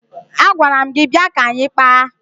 Agwara m gị bịa ka anyị kpaa!